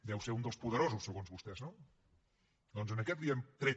deu ser un dels poderosos segons vostès no doncs a aquest li hem tret